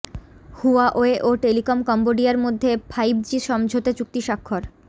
Huawei ও telecom কম্বোডিয়ার মধ্যে ফাইভজি সমঝোতা চুক্তি স্বাক্ষর